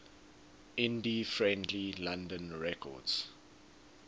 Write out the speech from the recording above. indie friendly london records